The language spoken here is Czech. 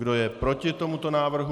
Kdo je proti tomuto návrhu?